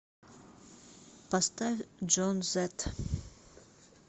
поставь джон зет